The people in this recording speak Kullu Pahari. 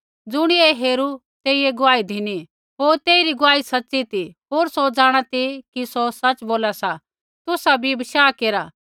ज़ुणियै ऐ हेरू तेइयै गुआही धिनी होर तेइरी गुआही सच़ी ती होर सौ जाँणा ती कि सौ सच़ बोला सा तुसा भी बशाह केरा